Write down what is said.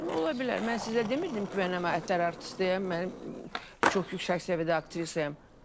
Ola bilər, mən sizə demirdim ki, mən xalq artistiəm, mən çox yüksək səviyyədə aktrisayam.